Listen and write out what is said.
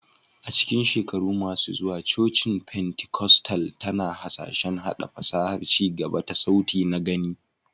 A cikin shekaru masu zuwa, cocin Pentikostal tana hasashen haɗa fasahar ci gaba ta sauti na-gani